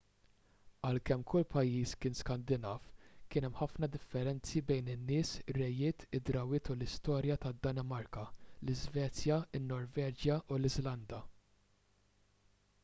għalkemm kull pajjiż kien skandinav' kien hemm ħafna differenzi bejn in-nies ir-rejiet id-drawwiet u l-istorja tad-danimarka l-iżvezja in-norveġja u l-iżlanda